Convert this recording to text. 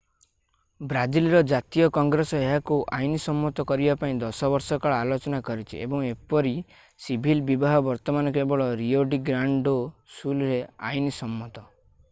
ବ୍ରାଜିଲର ଜାତୀୟ କଂଗ୍ରେସ ଏହାକୁ ଆଇନସମ୍ମତ କରିବା ପାଇଁ 10 ବର୍ଷ କାଳ ଆଲୋଚନା କରିଛି ଏବଂ ଏପରି ସିଭିଲ୍ ବିବାହ ବର୍ତ୍ତମାନ କେବଳ ରିଓ ଡି ଗ୍ରାଣ୍ଡ ଡୋ ସୁଲରେ ଆଇନସମ୍ମତ